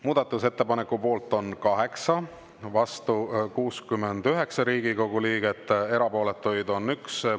Muudatusettepaneku poolt on 8, vastu 69 Riigikogu liiget, erapooletuid on 1.